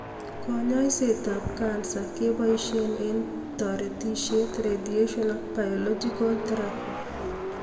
Kanyaiset ap kansa kepaishe eng toretishet ,radiation ak biological therapy